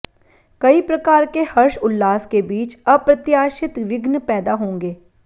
कई प्रकार के हर्ष उल्लास के बीच अप्रत्याशित विघ्न पैदा होंगे